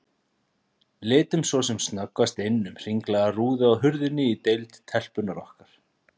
Litum svo sem snöggvast inn um hringlaga rúðu á hurðinni á deild telpunnar okkar.